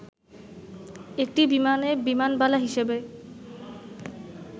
একটি বিমানে বিমানবালা হিসেবে